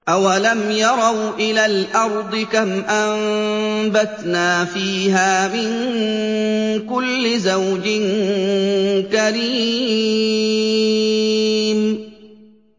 أَوَلَمْ يَرَوْا إِلَى الْأَرْضِ كَمْ أَنبَتْنَا فِيهَا مِن كُلِّ زَوْجٍ كَرِيمٍ